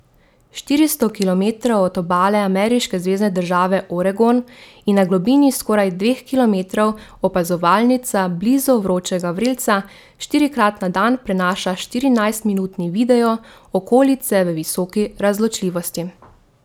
Štiristo kilometrov od obale ameriške zvezne države Oregon in na globini skoraj dveh kilometrov opazovalnica blizu vročega vrelca štirikrat na dan prenaša štirinajstminutni video okolice v visoki razločljivosti.